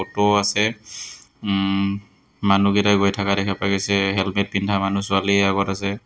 Auto আছে উম্ মানুহকেইটা গৈ থকা দেখা পোৱা গৈছে হেলমেট পিন্ধা মানুহ ছোৱালী আগত আছে।